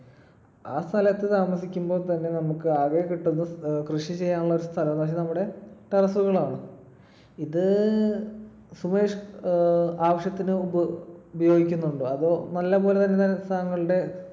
ആ സ്ഥലത്തു താമസിക്കുമ്പോൾത്തന്നെ നമുക്ക് ആകെ കിട്ടുന്ന കൃഷി ചെയ്യാനുള്ള സ്ഥലം നമ്മടെ terrace കളാണ്. ഇത് സുമേഷ് ഏർ ആവശ്യത്തിന് ഉപയോഗിക്കുന്നുണ്ടോ? അതോ നല്ലപോലെ